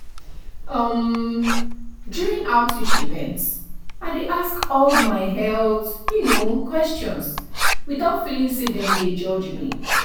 um during outreach events i dey ask all my health you know questions without feeling say dem dey judge me.